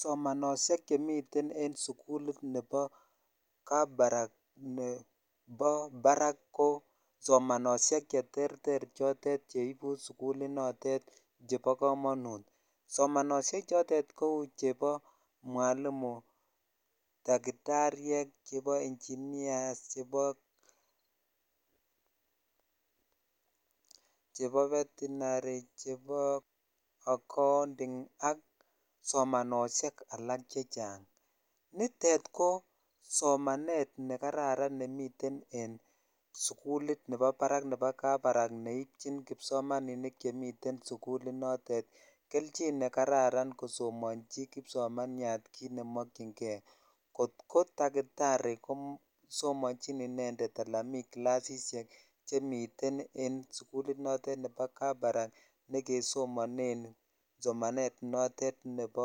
Somanoshek chemiten en sukulit nebo kabarak nebo barak ko somanoshek cheterter chotet cheibu sukulinotet chebo komonut somanoshek chotet kou chebo mwalimuek ,dakitaryek ,chebo ,inginias chbo (puse)[ca]betinary chbo accounting ak somanoshek alak chechang nitet ko somanet nekararan nemiten en sukulit nebo barak nebo kabarak neibchi kipsomaninik chemiten en sukulit notet kelchin kosomochi kipsomaninyat kit nemokyinkei kot ko dakitari ko somonjin inended miten clasishek chekinetishen en sukulit notet nebo kabarak ne kesomonen somanet notet nebo